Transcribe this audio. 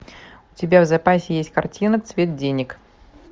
у тебя в запасе есть картина цвет денег